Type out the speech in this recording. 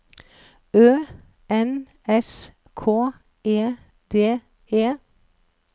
Ø N S K E D E